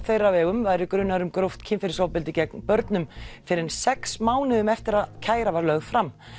þeirra væri grunaður um gróft kynferðisofbeldi gegn börnum fyrr en sex mánuðum eftir að kæra var lögð fram